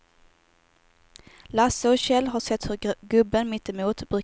Lasse och Kjell har sett hur gubben mittemot brukar leta tomburkar i kvällsmörkret.